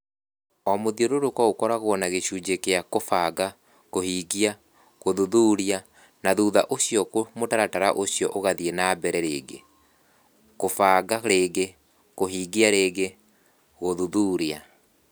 O mũthiũrũrũko ũkoragwo na gĩcunjĩ kĩa kũbanga > kũhingia > gũthuthuria, na thutha ũcio mũtaratara ũcio ũgathiĩ na mbere rĩngĩ (kũbanga rĩngĩ > kũhingia rĩngĩ > gũthuthuria).